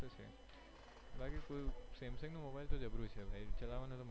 એ વાત તો છે બાકી કોઈ samsung નો mobile તો જબરો છે ચલાવવાનો મલસે.